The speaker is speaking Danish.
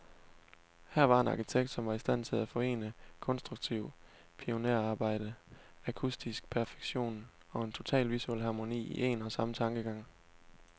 Her var en arkitekt, som var i stand til at forene konstruktivt pionerarbejde, akustisk perfektion, og en total visuel harmoni, i en og samme tankegang.